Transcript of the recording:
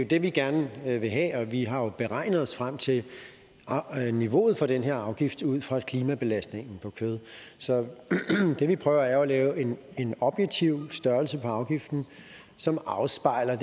det vi gerne vil have vi har jo beregnet os frem til niveauet for den her afgift ud fra klimabelastningen på kød så det vi prøver er at lave en objektiv størrelse på afgiften som afspejler